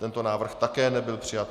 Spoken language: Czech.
Tento návrh také nebyl přijat.